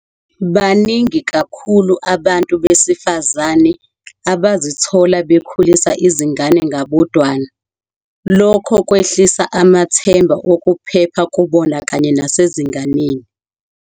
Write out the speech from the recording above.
Baningi kakhulu abantu besifazane abazithola bekhulisa izingane ngabodwana, lokho kwehlisa amathemba okuphepha kubona kanye nasezinganeni.